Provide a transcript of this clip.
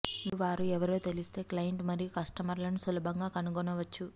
మీరు వారు ఎవరో తెలిస్తే క్లయింట్లు మరియు కస్టమర్లను సులభంగా కనుగొనవచ్చు